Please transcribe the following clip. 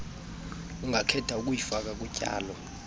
ungakhetha ukuyifaka kutyalo